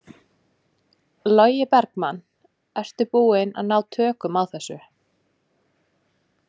Logi Bergmann: Ertu búinn að ná tökum á þessu?